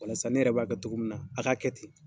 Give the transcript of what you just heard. Walasa ne yɛrɛ b'a kɛ cogo min na, a k'a kɛ ten.